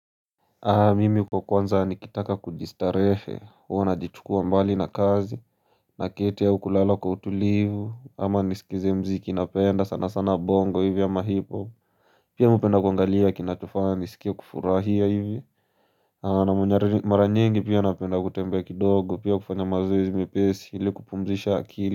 Mimi kwa kwanza nikitaka kujistarehe, huwa najiichukua mbali na kazi, na keti au kulala kwa utulivu, ama nisikize mziki napenda sana sana bongo hivyo ama hipohop Pia hupenda kuangalia kinachofanya nisikie kufurahia hivyo Na mara nyingi pia napenda kutembea kidogo pia kufanya mazoezi mepesi ili kupumzisha akili.